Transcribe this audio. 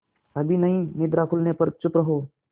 अभी नहीं निद्रा खुलने पर चुप रहो